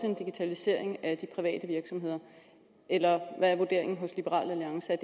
en digitalisering af de private virksomheder eller hvad er vurderingen hos liberal alliance er